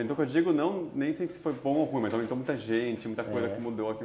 Eu digo, nem sei se foi bom ou ruim, mas aumentou muita gente, muita coisa que mudou aqui.